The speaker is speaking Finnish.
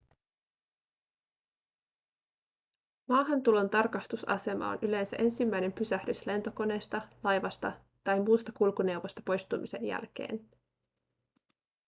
maahantulon tarkastusasema on yleensä ensimmäinen pysähdys lentokoneesta laivasta tai muusta kulkuneuvosta poistumisen jälkeen